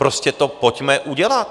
Prostě do pojďme udělat!